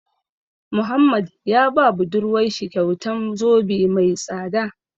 Muhammad ya ba budurwar shi kyautan zobe mai tsada.